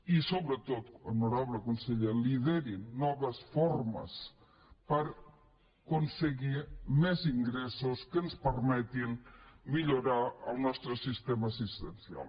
i sobretot honorable conseller lideri noves formes per aconseguir més ingressos que ens permetin millorar el nostre sistema assistencial